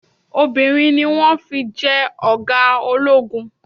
Obìnrin ni wọn fi jẹ́ ọ̀gá ológun.